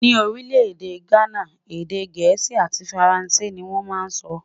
Ní orí lédè ghánà, èdè gèésì àti faransé ní wón má sọ.